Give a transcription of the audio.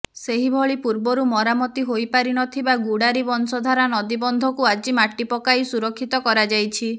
ସେହିଭଳି ପୂର୍ବରୁ ମରାମତି ହୋଇପାରିନଥିବା ଗୁଡ଼ାରୀ ବଂଶଧାରା ନଦୀ ବନ୍ଧକୁ ଆଜି ମାଟି ପକାଇ ସୁରକ୍ଷିତ କରାଯାଇଛି